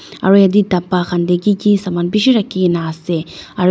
aro eta dhapa khan tey ki ki saman bishi raki kena ase aro.